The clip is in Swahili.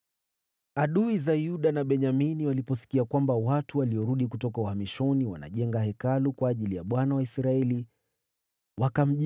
Adui za Yuda na Benyamini waliposikia kwamba watu waliorudi kutoka uhamishoni wanajenga Hekalu kwa ajili ya Bwana , Mungu wa Israeli,